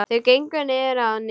Þau gengu niður að ánni.